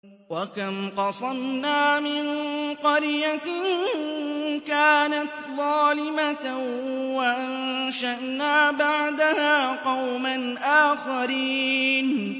وَكَمْ قَصَمْنَا مِن قَرْيَةٍ كَانَتْ ظَالِمَةً وَأَنشَأْنَا بَعْدَهَا قَوْمًا آخَرِينَ